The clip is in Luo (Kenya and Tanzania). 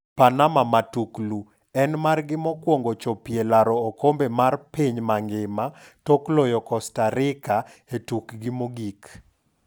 Panama Matuklu: En margi mokwongo chopie laro okombe mar piny mangima tok loyo Costa Rica e tukgi mogik.